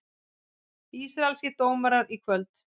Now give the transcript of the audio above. Ísraelskir dómarar í kvöld